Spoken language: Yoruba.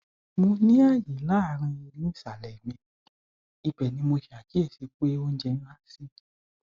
mo ní àyè láàárín eyín ìsàlẹ mi ibẹ ni mo ṣàkíyèsí pé oúnjẹ ń há sí